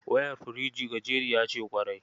Wayar firjin gajeriya ce ƙwarai.